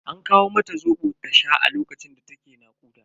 An kawo mata Zobo ta sha a lokacin da ta ke nakuda.